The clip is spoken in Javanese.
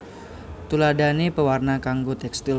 Tuladhané pewarna kanggo tékstil